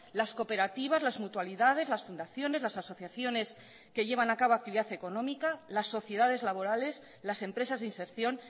las cooperativas las mutualidades las fundaciones las asociaciones que llevan a cabo actividad económica las sociedades laborales las empresas de inserción